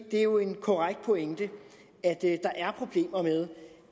det er jo en korrekt pointe at der er problemer med